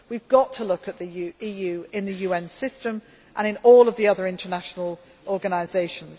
action. We have got to look at the EU in the UN system and in all of the other international organisations.